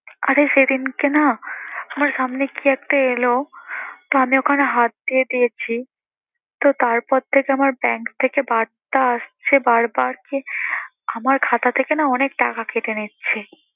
আরে সেদিনকে না আমার সামনে কি একটা এলো তা আমি ওখানে হাত দিয়ে দিয়েছি, তো তারপর থেকে আমার bank থেকে বার্তা আসছে বারবার যে, আমার খাতা থেকে না অনেক টাকা কেটে নিচ্ছে।